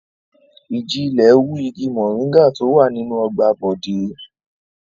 Ìjì-ilẹ̀ wú igi mòríngà tó wà nínú ọgbà Bọ̀dé.